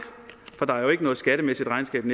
for der er jo ikke noget skattemæssigt regnskab